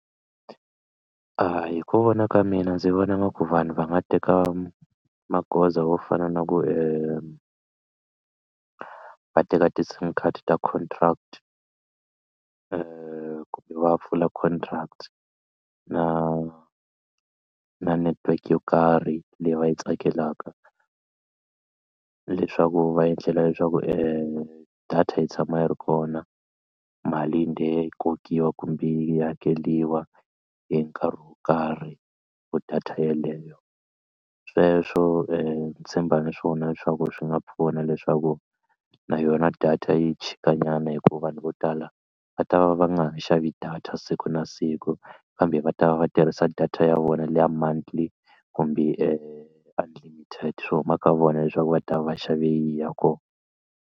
Hi ku vona ka mina ndzi vona nga ku vanhu va nga teka magoza wo fana na ku va teka ti-sim card ta contract kumbe va pfula contract na na network yo karhi leyi va yi tsakelaka leswaku va endlela leswaku data yi tshama yi ri kona mali yi ndhe yi kokiwa kumbe yi hakeriwa hi nkarhi wo karhi for data yeleyo sweswo ni tshemba ni swona leswaku swi nga pfuna leswaku na yona data yi chikanyana hi ku vanhu vo tala va ta va va nga ha xavi data siku na siku kambe va ta va va tirhisa data ya vona leya monthly kumbe unlimited swi huma ka vona leswaku va ta va va xave yini ya kona.